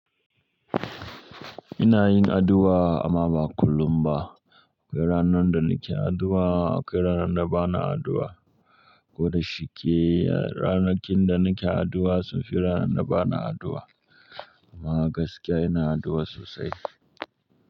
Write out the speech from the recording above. Ina yin addu'a amma ba kullum ba. Akwai ranan da nake addu'a, akwai ranan da bana addu'a. Ko da shike ranakin da nake addu'a sun fi ranan da bana addu'a. Amma gaskiya ina addu'a sosai.